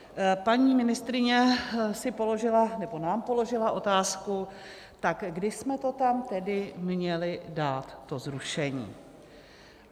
Paní ministryně si položila, nebo nám položila, otázku: tak kdy jsme to tam tedy měli dát, to zrušení?